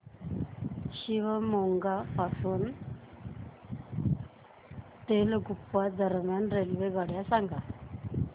Shivamogga town पासून तलगुप्पा दरम्यान रेल्वेगाड्या सांगा